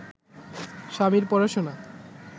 স্বামীর পড়াশোনা